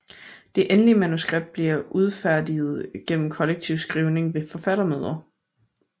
Det endelige manuskript bliver udfærdiget gennem kollektiv skrivning ved forfattermøder